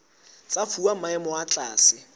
tsa fuwa maemo a tlase